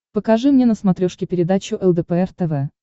покажи мне на смотрешке передачу лдпр тв